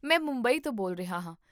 ਮੈਂ ਮੁੰਬਈ ਤੋਂ ਬੋਲ ਰਿਹਾ ਹਾਂ